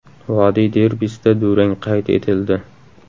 Vodiy derbisida durang qayd etildi.